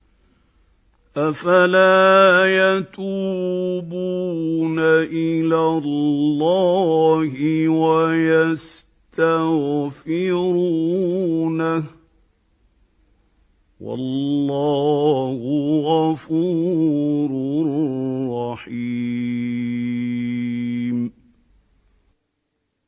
أَفَلَا يَتُوبُونَ إِلَى اللَّهِ وَيَسْتَغْفِرُونَهُ ۚ وَاللَّهُ غَفُورٌ رَّحِيمٌ